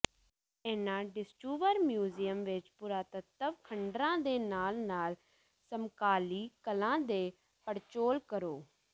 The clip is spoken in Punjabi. ਇਹਨਾਂ ਡਿਸਟੂਵਰ ਮਿਊਜ਼ਿਅਮਾਂ ਵਿਚ ਪੁਰਾਤੱਤਵ ਖੰਡਰਾਂ ਦੇ ਨਾਲ ਨਾਲ ਸਮਕਾਲੀ ਕਲਾ ਦੀ ਪੜਚੋਲ ਕਰੋ